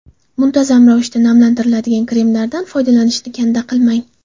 Muntazam ravishda namlantiradigan kremlardan foydalanishni kanda qilmang.